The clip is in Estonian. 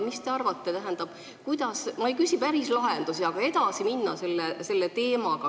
Mis te arvate, kuidas – ma ei küsi päris lahendusi –, aga kuidas selle teemaga edasi minna?